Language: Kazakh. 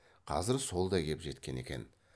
қазір сол да кеп жеткен екен